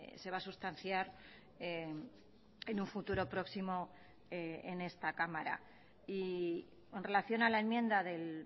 se va a sustanciar en un futuro próximo en esta cámara y en relación a la enmienda del